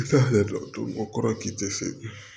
Mɔgɔ kɔrɔ k'i tɛ se